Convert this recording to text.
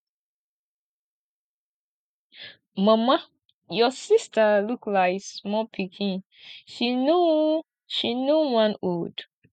mama your sister look like small pikin she no she no wan old